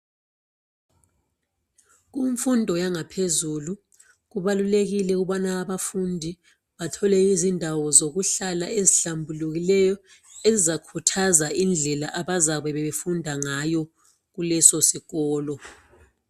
Kumfundo yanga phezulu kubalulekile ukubana abafundi bathole izindawo zokuhlala ezihlambulukileyo ezizakhuthaza indlela abazabe befunda ngayo kuleso sikolo.